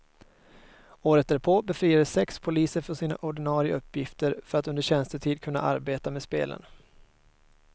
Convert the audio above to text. Året därpå befriades sex poliser från sina ordinare uppgifter för att under tjänstetid kunna arbeta med spelen.